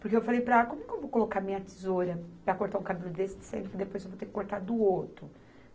Porque eu falei para ela, como que eu vou colocar a minha tesoura para cortar o cabelo desse se depois eu vou ter que cortar do outro?